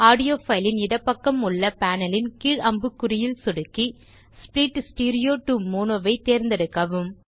audio fileன் இடப்பக்கம் உள்ள panelன் கீழ் அம்புக்குறியில் சொடுக்கி ஸ்ப்ளிட் ஸ்டீரியோ டோ மோனோ தேர்ந்தெடுக்கவும்